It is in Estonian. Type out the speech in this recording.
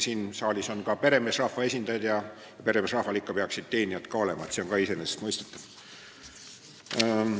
Siin saalis on küll ka peremeesrahva esindajad ja peremeesrahval peaks ikka teenijad ka olema – see on ka iseenesest mõistetav.